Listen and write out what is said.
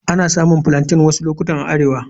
Ana samun Plaintain wasu lokuta a arewa.